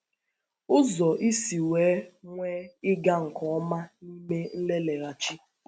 Ụzọ Ísì Nwèe Nwèe Ị́gà Nke Ọ́má n’Ímè Nlelègháchì